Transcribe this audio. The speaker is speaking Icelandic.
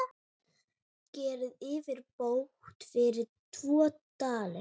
Gerið yfirbót fyrir tvo dali!